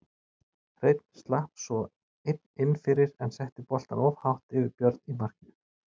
Hreinn slapp svo einn inn fyrir en setti boltann of hátt yfir Björn í markinu.